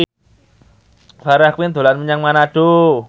Farah Quinn dolan menyang Manado